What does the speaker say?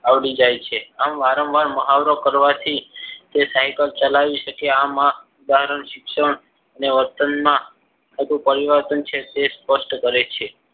આવડી જાય છે. આમ વારંવાર મહાવરો કરવાથી એ cycle ચલાવી શકે. આમાં ઉદાહરણ શિક્ષણ અને વર્તનમાં પરિવર્તન છે તે સ્પષ્ટ કરે છે.